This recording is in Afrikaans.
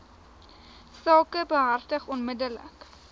saak behartig onmiddellik